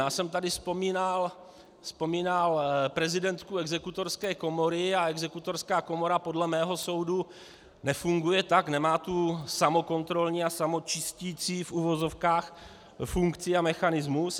Já jsem tady vzpomínal prezidentku Exekutorské komory a Exekutorská komora podle mého soudu nefunguje tak, nemá tu samokontrolní a samočisticí, v uvozovkách, funkci a mechanismus.